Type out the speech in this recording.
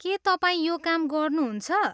के तपाईँ यो काम गर्नुहुन्छ?